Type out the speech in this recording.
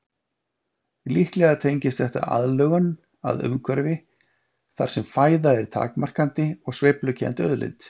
Líklega tengist þetta aðlögun að umhverfi þar sem fæða er takmarkandi og sveiflukennd auðlind.